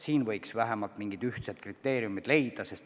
Selleks võiks vähemalt mingid ühtsed kriteeriumid leida.